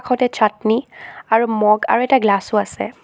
কাষতে চাটনি আৰু মগ আৰু এটা গ্লচ্ছো আছে।